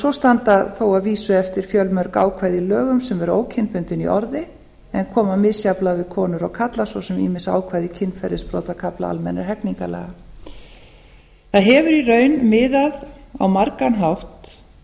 svo standa þó að vísu eftir fjölmörg ákvæði í lögum sem eru ókynbundin í orði en koma misjafnlega við konur og karla svo sem ýmis ákvæði kynferðisbrotakafla almennra hegningarlaga það hefur í raun miðað á margan hátt